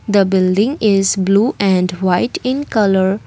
the building is blue and white in colour.